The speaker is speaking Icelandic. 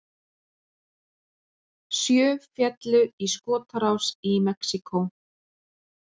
Sjö féllu í skotárás í Mexíkó